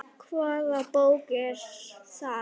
Hvaða bók er það?